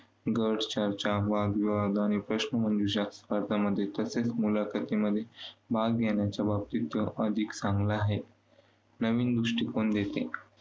चर्चा, वादविवाद आणि प्रश्नमंजुषा स्पर्धांमध्ये तसेच मुलाखतींमध्ये भाग घेण्याच्या बाबतीत तो अधिक चांगला आहे. नवीन गोष्टी शिकून घेते.